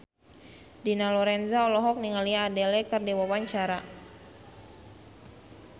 Dina Lorenza olohok ningali Adele keur diwawancara